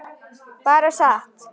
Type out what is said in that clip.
Bara sat.